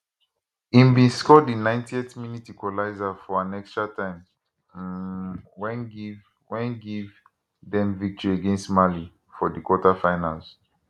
im bin score di 90th minute equaliser for an extratime um wey give wey give dem victory against mali for di quarterfinals